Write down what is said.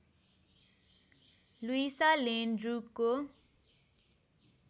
Luisa Lane ड्र्युको